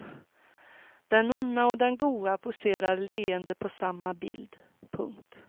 Den onda och den goda poserar leende på samma bild. punkt